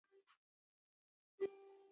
Á því munu allir tapa.